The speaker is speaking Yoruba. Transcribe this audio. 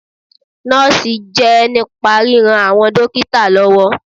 Nọ́ọ̀sì jẹ́ nípa ríran àwọn dókítà lọ́wọ́.